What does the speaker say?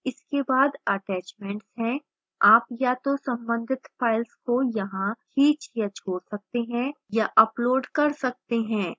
इसके बाद attachments है आप या तो संबंधित files को यहां खींच या छोड़ सकते हैं या upload कर सकते हैं